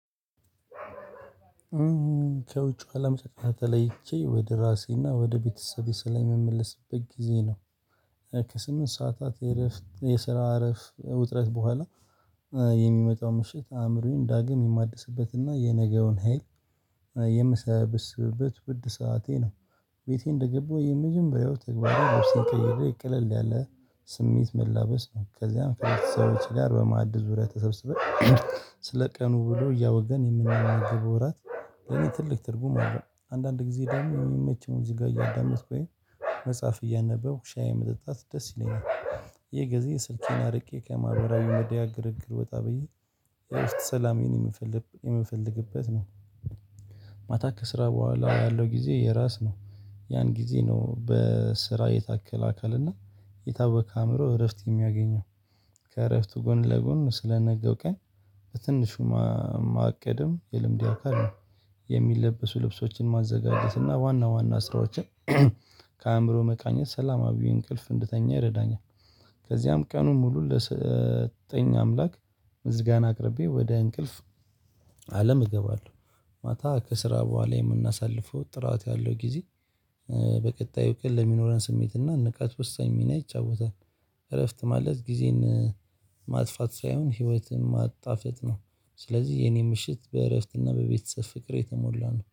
ከውጭ አለም ጨ ተለይቼ ወደ ራሴና ወደ ቤተሰቤ ስለምመልስበት ጊዜ ነው። ከስምንት ሰዓታት የእረፍት የስራ አረፍት ውጥረት በኋላ የሚመጣው ምሽት አእምሮዬን ዳግም የማድስበትና የነገውን ሀይል የምሰበስበት ውድ ሰዓቴ ነው። ቤቴ እንደገባሁ የመጀመሪያው ተግባራዊ ልብሴን ቀይሬ ቀለል ቀለል ያለ ስሜት መላበስ ነው ከዚያም ከቤተሰቦቼ ጋር በማዕድስ ዙሪያ ተሰብስበን ስለ ቀኑ ውሎ እያወገን የምናናግብ እራት። ለኔ ትልቅ ትርጉም አለአለው አንዳንድ ጊዜ ደግሞ የሚመች ሙዚቃ እያዳመጥኩ ወይም መጽሐፍ እያነበው ሻይ መጠጣት ደስ ይለኛል። ይህ ጊዜ ስልኬን አርቄ ከማህበራዊ ሚዲያ ግርግር ወጣ ብዬ የረፍት ሰላሜን የምፈልግበት ነው። መጽሐፍ እያነበብኩ ሻይ መጠጣት ደስ ይለኛል። ይሄ ጊዜ ስልኬን አርቄ ከማህበራዊ ሚዲያ ግርግር ወጣ ብዬ የረፍት ሰላሜን የምፈልግበት ነው። ያን ጊዜ ነው በስራ የተስተካከለ እና የታወከ አይምሮ እረፍት የሚያገኘው። ከእረፍቱ ጎን ለጎን ስለነገው ቀን በትንሹ ማቀድም የልምዴ አካል ነው። የሚለብሱ ልብሶችን ማዘጋጀት እና ዋና ዋና ስራዎችን ከአእምሮ መቃኘት ሰላማዊ እንቅልፍ እንድተኛ ይረዳኛል። ከዚያም ቀኑን ሙሉ ለሰጠኝ አምላክ ምስጋና አቅርቤ ወደ እንቅልፍ አለም እገባለሁ። ማታ ከስራ በኋላ የምናሳልፈው ጥራት ያለው ጊዜ። በቀጣዩ ቀን ለሚኖረን ስሜትና ንቃት ወሳኝ ሚና ይጫወታል። እረፍት ማለት ጊዜን ማጥፋት ሳይሆን ህይወትን ማጣፈጥ ነው። ስለዚህ የኔ ምሽት በእረፍትና በቤተሰብ ፍቅር የተሞላ ነው